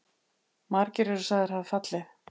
Margir eru sagðir hafa fallið.